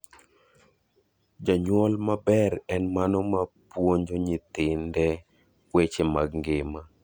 Janyuol maber en mano ma puonje nyithinde weche mag ngima.